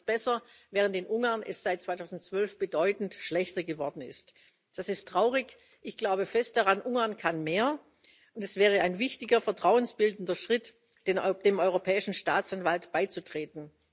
Da wird es besser, während es in Ungarn seit 2012 bedeutend schlechter geworden ist. Das ist traurig. Ich glaube fest daran Ungarn kann mehr, und es wäre ein wichtiger vertrauensbildender Schritt, dem Europäischen Staatsanwalt beizutreten.